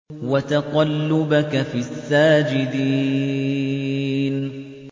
وَتَقَلُّبَكَ فِي السَّاجِدِينَ